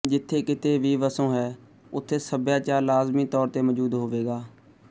ਜਿੱਥੇ ਕਿਤੇ ਵੀ ਵਸੋਂ ਹੈ ਉੱਥੇ ਸੱਭਿਆਚਾਰ ਲਾਜ਼ਮੀ ਤੌਰ ਤੇ ਮੌਜੂਦ ਹੋਵੇਗਾ